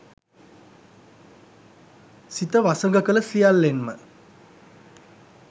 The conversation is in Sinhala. සිත වසඟ කළ සියල්ලෙන්ම